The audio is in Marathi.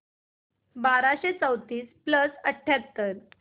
बाराशे चौतीस प्लस अठ्याहत्तर